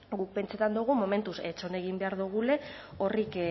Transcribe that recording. guk pentsatzen dugu momentuz itxoin egin behar dugula horrek